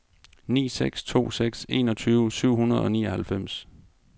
ni seks to seks enogtyve syv hundrede og nioghalvfems